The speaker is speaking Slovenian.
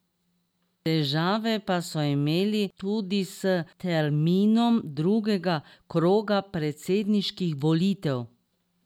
Težave pa so imeli tudi s terminom drugega kroga predsedniških volitev.